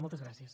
moltes gràcies